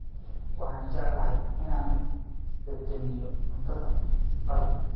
Waxaan jecelnahay inaan dhadhaminno cunto qalaad.